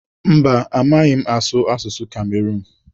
Mba, amaghị m m asụ asụsụ Kamerun.